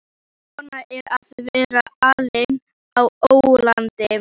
Svona er að vera alinn á ólandi.